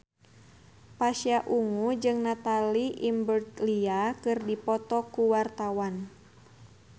Pasha Ungu jeung Natalie Imbruglia keur dipoto ku wartawan